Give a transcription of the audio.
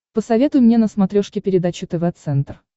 посоветуй мне на смотрешке передачу тв центр